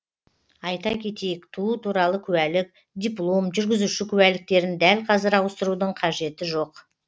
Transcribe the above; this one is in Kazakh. айта кетейік туу туралы куәлік диплом жүргізуші куәліктерін дәл қазір ауыстырудың қажеті жоқ